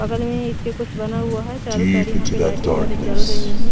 बगल में इसके कुछ बना हुआ है चारों साइड यहां पे लाइटिंग वगैरह जल रही है।